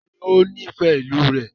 Taàní ó nifẹ ìlú rẹ?